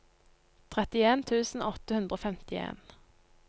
trettien tusen åtte hundre og femtien